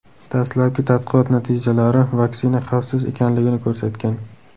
Dastlabki tadqiqot natijalari vaksina xavfsiz ekanligini ko‘rsatgan .